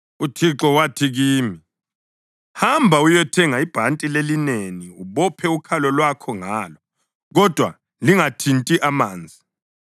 UThixo wathi kimi: “Hamba uyethenga ibhanti lelineni ubophe ukhalo lwakho ngalo, kodwa lingathinti amanzi.”